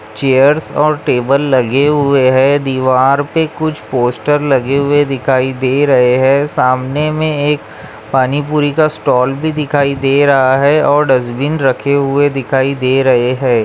Chairs और table लगे हुए है दीवार पे कुछ पोस्टर लगे हुए दिखाई दे रहे है सामने में एक पानी पूरी का स्टॉल भी दिखाई दे रहा है और डस्ट्बिन रखे हुए दिखाई दे रहे है।